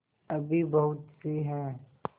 अभी बहुतसी हैं